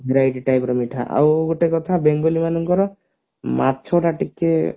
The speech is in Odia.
variety type ର ମିଠା ଆଉ ଗୋଟେ କଥା ବେଙ୍ଗଲି ମାନଙ୍କର ମାଛ ଟା ଟିକେ